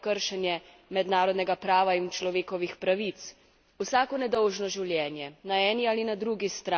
Vsako nedolžno življenje, ne eni ali na drugi strani, ovira in zaostruje iskanje rešitve.